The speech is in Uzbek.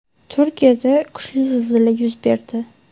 Turkiyada kuchli zilzila yuz berdi.